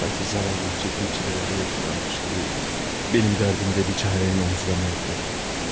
Sanki zavallının çəkdiyi çilələr yetmiyormuş kimi, benim dərdimi də biçarənin omuzlarına yüklədim.